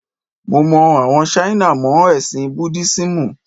Mo mọ àwọn Ṣáínà mọ́ ẹ̀sìn Búdísímù.